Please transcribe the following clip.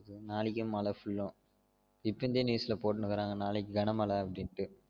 நாளைக்கே மழ full ஆ இப்பன் தீ news ல போட்னு இருக்குறாங்க நாளைக்கு கன மழ அப்டின்டு